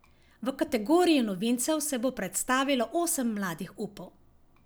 V kategoriji novincev se bo predstavilo osem mladih upov.